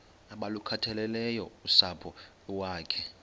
abalukhathaleleyo usapho iwakhe